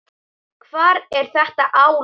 Hvar er þetta álag?